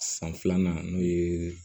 San filanan n'o ye